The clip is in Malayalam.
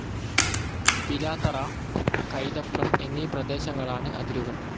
പിലാത്തറ, കൈതപ്രം എന്നീ പ്രദേശങ്ങളാണ്‌ അതിരുകൾ